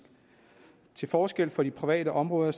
til forskel fra de private områder